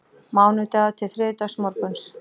Mánudagur til þriðjudagsmorguns